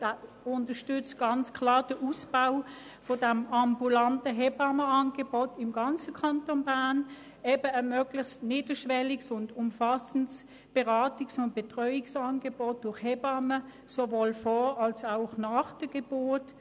Der Verband unterstützt ganz klar den Ausbau dieses ambulanten Hebammenangebots im ganzen Kanton Bern, also ein niederschwelliges und umfassendes Beratungs- und Betreuungsangebot durch Hebammen, sowohl vor als auch nach der Geburt.